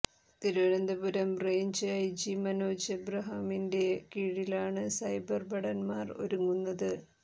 Thiruvananthapuram range IG Manoj എബ്രഹാമിന്റെ കീഴിലാണ് cyber ഭടന്മാർ ഒരുങ്ങുന്നത്